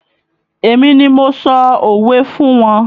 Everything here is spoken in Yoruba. Èmi ni mo sọ òwe fún wọn